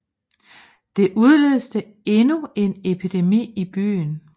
Det udløste endnu en epidemi i byen